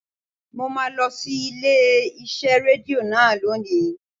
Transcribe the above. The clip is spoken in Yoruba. Mo máa lọ sí ilé iṣẹ́ Rédíò náà lónìí.